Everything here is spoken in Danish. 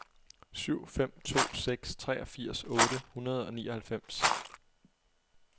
syv fem to seks treogfirs otte hundrede og nioghalvfems